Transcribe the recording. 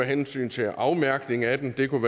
hensyn til afmærkning af dem det kunne